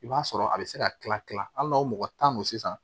I b'a sɔrɔ a bɛ se ka kila kila hali n'o mɔgɔ tan don sisan